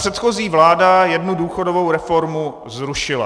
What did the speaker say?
Předchozí vláda jednu důchodovou reformu zrušila.